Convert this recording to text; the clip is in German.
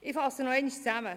Ich fasse zusammen: